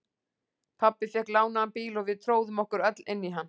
Pabbi fékk lánaðan bíl og við tróðum okkur öll inn í hann.